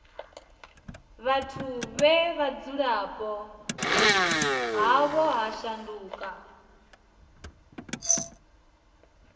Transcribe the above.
vhathu vhe vhudzulapo havho ha shanduka